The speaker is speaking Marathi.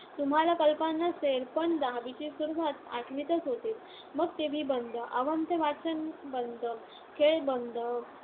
तुम्हांला कल्पना नसेल, पण दहावीची सुरुवात आठवीतच होते. मग टीव्ही बंद, अवांतर वाचन बंद, खेळ बंद,